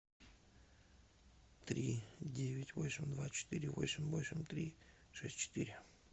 три девять восемь два четыре восемь восемь три шесть четыре